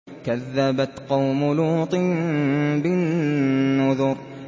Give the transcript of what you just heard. كَذَّبَتْ قَوْمُ لُوطٍ بِالنُّذُرِ